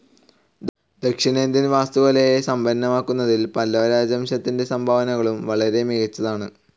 ദക്ഷിണേന്ത്യൻ വാസ്തുകലയെ സമ്പന്നമാക്കുന്നതിൽ പല്ലവരാജവംശത്തിൻ്റെ സംഭാവനകളും വളരെ മികച്ചതാണ്.